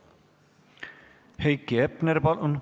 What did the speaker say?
Heiki Hepner, palun!